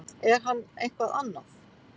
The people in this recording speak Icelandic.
Er hann eitthvað annað?